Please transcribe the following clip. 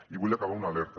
i vull acabar amb una alerta